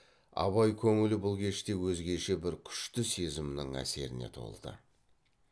абай көңілі бұл кеште өзгеше бір күшті сезімнің әсеріне толды